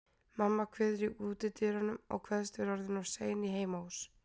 Mamma kveður í útidyrunum, kveðst vera orðin of sein í heimahús.